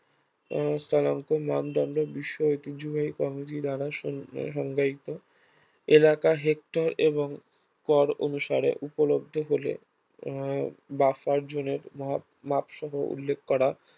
আহ স্থনান্তর নামদন্ড বিশ্ব ঐতিহ্যবাহী কমিটি দ্বারা সজ্ঞা~ সজ্ঞায়িত এলাকা হেক্টর এবং কর অনুসারে উপলব্ধ হলে আহ buffer zone এর ম~ মাপ সহ উল্লেখ করা